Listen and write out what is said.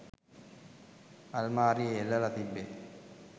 අල්මාරියෙ එල්ලලා තිබ්බෙ